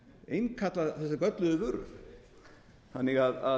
innkalla þessa gölluðu vöru þannig að